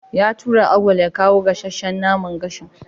Ya tura Auwal ya kawo gasasshan naman gashin.